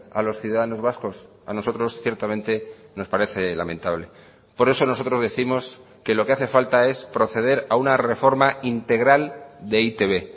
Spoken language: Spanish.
a los ciudadanos vascos a nosotros ciertamente nos parece lamentable por eso nosotros décimos que lo que hace falta es proceder a una reforma integral de e i te be